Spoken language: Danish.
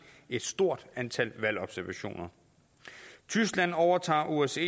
et stort antal valgobservationer tyskland overtager osce